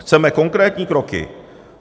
Chceme konkrétní kroky.